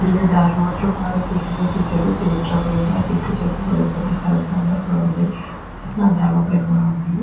వెళ్లే దారి బాగా క్లియర్ గా తీశాడు. ట్రక్కు ఉంది. అటు ఇటు చెట్లు ఉన్నాయి. కరెంటు స్తంభాలు ఉన్నాయి. డాబా పైన కూడా ఉన్నాయి.